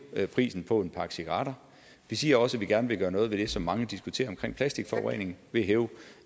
prisen på en pakke cigaretter vi siger også at vi gerne vil gøre noget ved det som mange diskuterer om plastikforurening ved at hæve